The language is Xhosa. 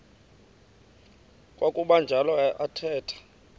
kwakuba njalo athetha